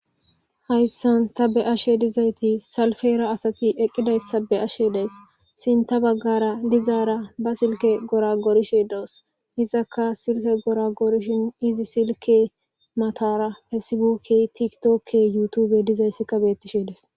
Hayssan ta be ashe dizayti salfeera asati eqqidayssa be ashe dees sin ta baggara dizaara ba silke gora goorishe doos isaka silke gora goorishin izi silke matara hessibukke tiktokke yutube dizayssikka bettishe des.